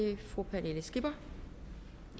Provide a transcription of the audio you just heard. det fru pernille skipper